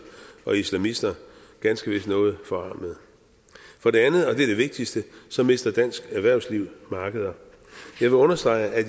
og islamister ganske vist noget forarmede for det andet og det er det vigtigste mister dansk erhvervsliv markeder jeg vil understrege at